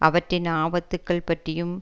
அவற்றின் ஆபத்துக்கள் பற்றியும்